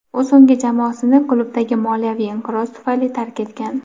U so‘nggi jamoasini klubdagi moliyaviy inqiroz tufayli tark etgan.